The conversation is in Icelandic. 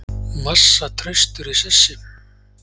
Massa traustur í sessi